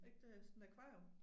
Ikke det sådan akvarium